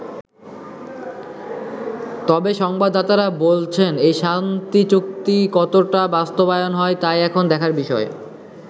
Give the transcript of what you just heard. তবে সংবাদদাতারা বলছেন, এই শান্তি চুক্তি কতটা বাস্তবায়ন হয় তাই এখন দেখার বিষয়।